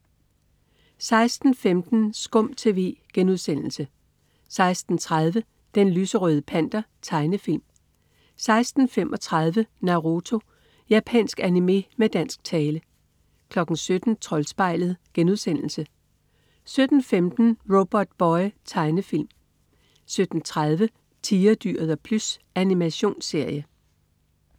16.15 SKUM TV* 16.30 Den lyserøde Panter. Tegnefilm 16.35 Naruto. Japansk animé med dansk tale 17.00 Troldspejlet* 17.15 Robotboy. Tegnefilm 17.30 Tigerdyret og Plys. Animationsserie